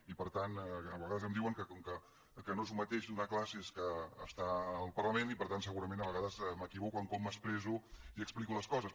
i per tant a vegades em diuen que no és el mateix donar classes que estar al parlament i per tant segurament a vegades m’equivoco en com m’expresso i explico les coses